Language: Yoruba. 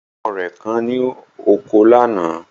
Ọkọ rẹ̀ kán ní oko lánàá